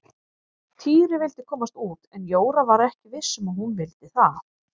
Týri vildi komast út en Jóra var ekki viss um að hún vildi það.